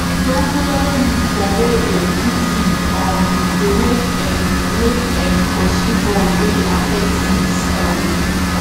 dongoyaro leaf for wer dem put seed um dey make [um]make [um]pursue bugs wey dey affect seeds um